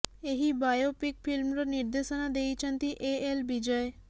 ଏହି ବାୟୋପିକ ଫିଲ୍ମର ନିର୍ଦ୍ଦେଶନା ଦେଇଛନ୍ତି ଏ ଏଲ୍ ବିଜୟ